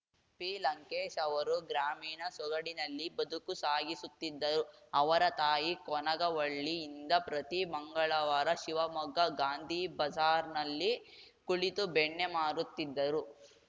ಪಿಲಂಕೇಶ್‌ ಅವರು ಗ್ರಾಮೀಣ ಸೊಗಡಿನಲ್ಲಿ ಬದುಕು ಸಾಗಿಸುತ್ತಿದ್ದರು ಅವರ ತಾಯಿ ಕೊನಗವಳ್ಳಿಯಿಂದ ಪ್ರತಿ ಮಂಗಳವಾರ ಶಿವಮೊಗ್ಗ ಗಾಂಧಿಬಜಾರ್‌ನಲ್ಲಿ ಕುಳಿತು ಬೆಣ್ಣೆ ಮಾರುತ್ತಿದ್ದರು